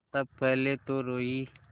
तब पहले तो रोयी